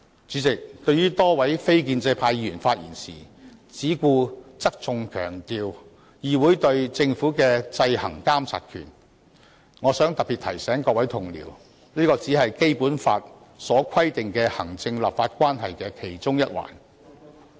主席，對於多位非建制派議員發言時，只顧側重強調議會對政府的制衡監察權，我想特別提醒各位同事，這只是《基本法》所規定的行政立法關係的其中一環。